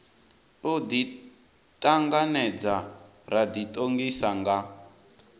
u ḓiṱanganedza ra ḓiṱongisa nga